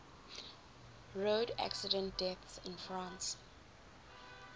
road accident deaths in france